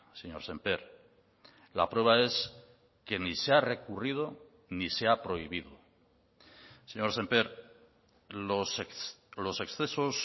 señor sémper la prueba es que ni se ha recurrido ni se ha prohibido señor sémper los excesos